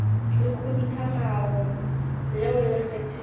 la khuduthamaga leo le kgethilwego